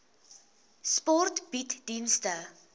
sport bied dienste